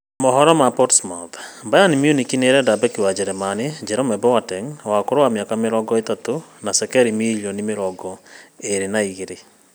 (Portsmouth News) Bayern Munich nĩĩrendia Beki wa jerumani Jerome Boateng, wa ũkũrũ wa mĩaka mĩrongo ĩtatũ cekeri mirioni mĩrongo ĩĩrĩ na igĩrĩ